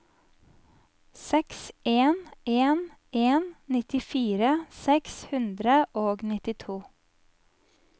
seks en en en nittifire seks hundre og nittito